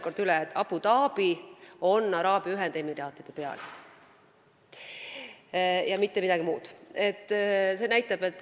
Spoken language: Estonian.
Kordan praegu üle: Abu Dhabi on Araabia Ühendemiraatide pealinn ja mitte midagi muud.